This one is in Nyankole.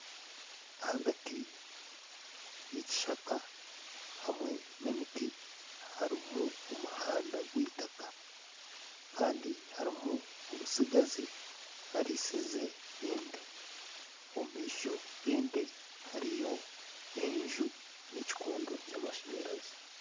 Ahagati yekishaka hamwe nemiti harimu omuhanda gwitaka Kandi harimu omutsigazi arisize ente omumaisho gente hariyo enju nekikondo kyamasanyarazi